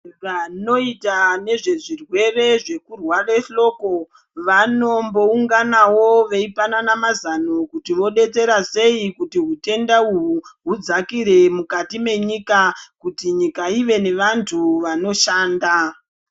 Vanoita nezvezvirwere zvekurware hloko vanombounganawo veipanana mazano kuti vodetsera sei kuti utenda uhwu hudzakire mukati menyika. Kuti nyika ive nevantu vanoshanda.